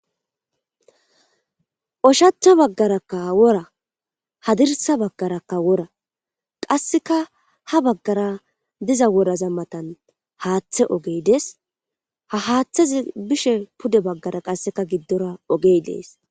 Hshachcha baggarakka wora hadirsa baggarakka wora qasseka ha baggara diza woraza matan haaththe ogey des ha haaththazi bishe pude baggara qasseka giddora ogey dees.